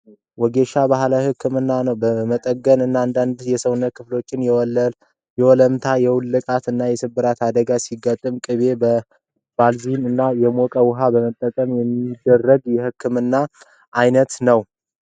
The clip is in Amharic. ወጌሻ ባህላዊ ህክምና ነው። በመገጣጠሚያ እና በአንዳንድ የሰውነት ክፍሎች የወለምታ ፣የመውለቅ እና የመሰበር አደጋ ሲያጋጥመን በቅቤ ፣በባልዚን እና የሞቀ ውሀን በመጠቀም የሚደረግ ህክምና ነው።